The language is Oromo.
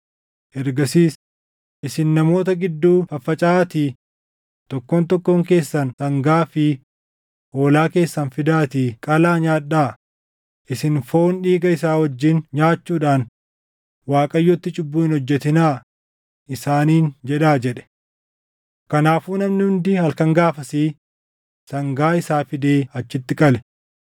Ergasiis, “Isin namoota gidduu faffacaʼaatii, ‘Tokkoon tokkoon keessan sangaa fi hoolaa keessan fidaatii qalaa nyaadhaa; isin foon dhiiga isaa wajjin nyaachuudhaan Waaqayyotti cubbuu hin hojjetinaa’ isaaniin jedhaa” jedhe. Kanaafuu namni hundi halkan gaafasii sangaa isaa fidee achitti qale.